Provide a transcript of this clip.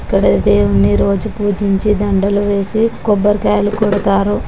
ఇక్కడ దేవుణ్ణి రోజు పూజించి దండలు వేసి కొబ్బరికాయలు కొడతారు.